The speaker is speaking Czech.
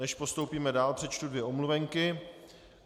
Než postoupíme dál, přečtu dvě omluvenky.